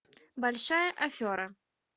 большая афера